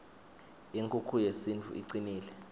inkukhu yesintfu icnile